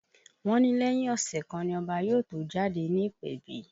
Wọ́n ní lẹ́yìn ọ̀sẹ̀ kan ni Ọba yóò tó jáde ní ìpèbí